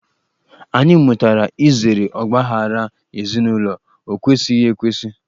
Anyị mụtara izere ọgbaaghara ezinụlọ, ọ kwesighị ekwesị.